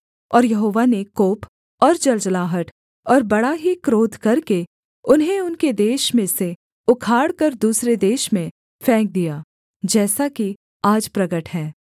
और यहोवा ने कोप और जलजलाहट और बड़ा ही क्रोध करके उन्हें उनके देश में से उखाड़कर दूसरे देश में फेंक दिया जैसा कि आज प्रगट है